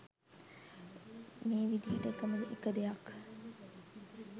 මේ විදියට එකම එක දෙයක්